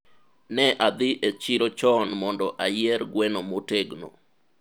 ne adhi e chiro chon mondo ayier gweno motegno